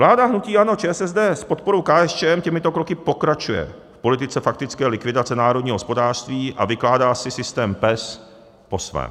Vláda hnutí ANO, ČSSD s podporou KSČM těmito kroky pokračuje v politice faktické likvidace národního hospodářství a vykládá si systém PES po svém.